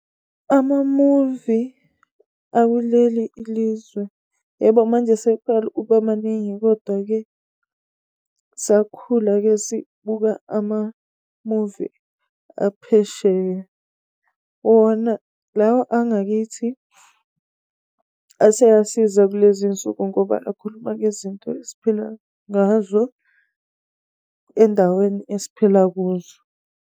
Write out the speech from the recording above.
Amamuvi akuleli ilizwe, yebo manje eseqala ukuba maningi, kodwa-ke sakhula-ke sibuka amamuvi aphesheya. Wona lawa angakithi, aseyasiza kulezi iy'nsuku, ngoba akhuluma ngezinto esiphila ngazo endaweni esiphila kuzo.